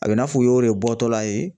A bɛ i n'a fɔ u y'o le bɔtɔla ye